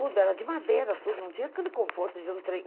Tudo, era de madeira tudo, não tinha aquele conforto de um trem.